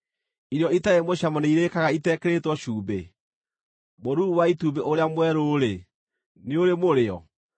Irio itarĩ mũcamo nĩ irĩĩkaga itekĩrĩtwo cumbĩ? Mũruru wa itumbĩ ũrĩa mwerũ-rĩ, nĩ urĩ mũrĩo?